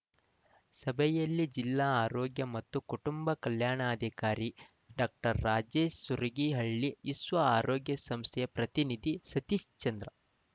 ಸಭೆಯಲ್ಲಿ ಜಿಲ್ಲಾ ಆರೋಗ್ಯ ಮತ್ತು ಕುಟುಂಬ ಕಲ್ಯಾಣಾಧಿಕಾರಿ ಡಾಕ್ಟರ್ ರಾಜೇಶ್‌ ಸುರಗೀಹಳ್ಳಿ ವಿಶ್ವ ಆರೋಗ್ಯ ಸಂಸ್ಥೆಯ ಪ್ರತಿನಿಧಿ ಸತೀಶ್ಚಂದ್ರ